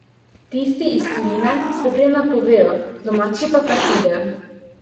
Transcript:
Tisti iz tujine se prej napovejo, domači pa kar pridejo.